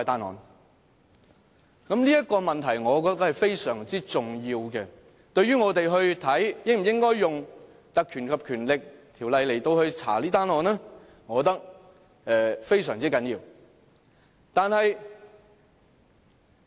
"我覺得這問題是非常重要的，對於我們應否引用《立法會條例》調查這宗案件，我覺得非常重要。